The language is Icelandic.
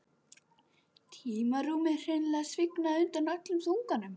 Tímarúmið hreinlega svignaði undan öllum þunganum.